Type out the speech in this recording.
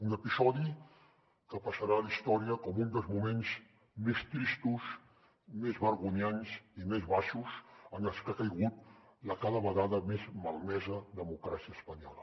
un episodi que passarà a la història com un dels moments més tristos més vergonyants i més baixos en els que ha caigut la cada vegada més malmesa democràcia espanyola